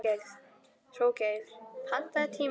Hróðgeir, pantaðu tíma í klippingu á fimmtudaginn.